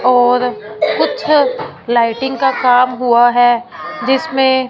और कुछ लाइटिंग का काम हुआ है जिसमें--